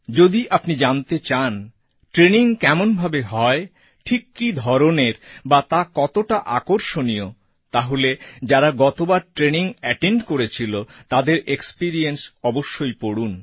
যদি আপনি জানতে চান ট্রেইনিং কেমন ভাবে হয় ঠিক কী ধরনের বা তা কতটা আকর্ষণীয় তাহলে যারা গতবার ট্রেইনিং এটেন্ড করেছিল তাদের এক্সপিরিয়েন্স অবশ্যই পড়ুন